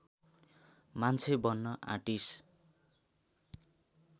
मान्छे बन्न आँटिस